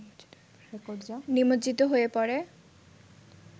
নিমজ্জিত হয়ে পড়ে